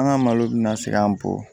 An ka malo bɛ na segin an kɔ